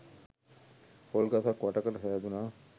පොල් ගසක් වට කර සෑදුනා